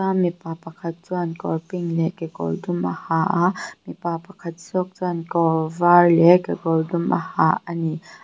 mipa pakhat chuan kawr pink leh kekawr dum a ha a mipa pakhat zawk chuan kawr var leh kekawr dum a ha ani.